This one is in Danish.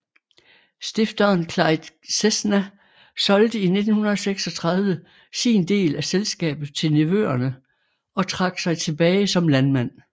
Stifteren Clyde Cessna solgte i 1936 sin del af selskabet til nevøerne og trak sig tilbage som landmand